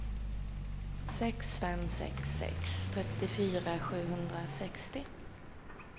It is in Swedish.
sex fem sex sex trettiofyra sjuhundrasextio